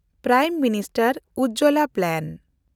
prime minister Ujjwala plan